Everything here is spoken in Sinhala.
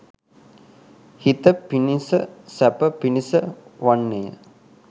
හිත පිණිස සැප පිණිස වන්නේය.